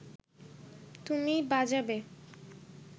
তুমি বাজাবে